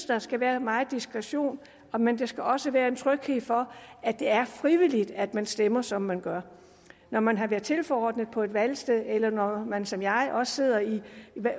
der skal være meget diskretion men der skal også være en tryghed for at det er frivilligt at man stemmer som man gør når man har været tilforordnet på et valgsted eller når man som jeg også sidder i